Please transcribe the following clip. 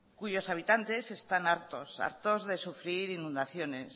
cuyos habitantes están hartos hartos de sufrir inundaciones